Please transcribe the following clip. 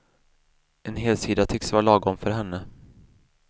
En helsida tycks vara lagom för henne.